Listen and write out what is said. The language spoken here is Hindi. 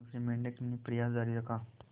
दूसरे मेंढक ने प्रयास जारी रखा